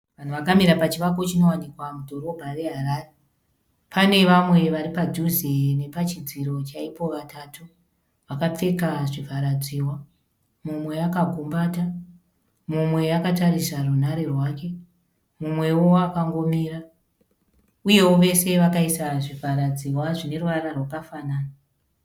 Vanhu vakamira pachivako chinowanikwa mudhorobha reHarare. Pane vamwe varipaduze nemadziro chaipo vatatu . Vakapfeka zvivharadziwa. Mumwe akagumbata, mumwe akatarisa runhare rwake, mumwewo akangomira, uyewo vese vakaisa zvivharadziwa zvineruvara rwakafanana.